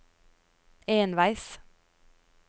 enveis